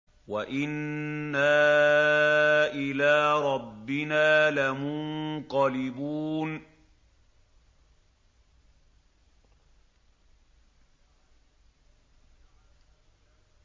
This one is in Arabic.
وَإِنَّا إِلَىٰ رَبِّنَا لَمُنقَلِبُونَ